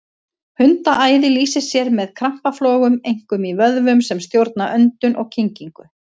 Hundaæði lýsir sér með krampaflogum, einkum í vöðvum sem stjórna öndun og kyngingu.